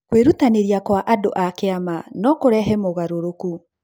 Kwĩrutanĩrĩa kwa andũ a kĩama no kũrehe mogarũrũku.